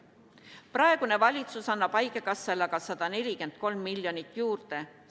Praegune valitsus annab haigekassale aga 143 miljonit juurde.